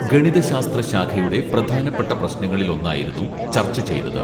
ഗണിതശാസ്ത്ര ശാഖയുടെ പ്രധാനപ്പെട്ട പ്രശ്നങ്ങളിൽ ഒന്നായിരുന്നു ചർച്ച ചെയ്തത്